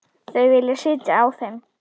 Þau vilja sitja á þeim.